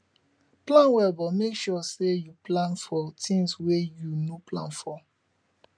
plan well but make sure sey you plan for things wey you no plan for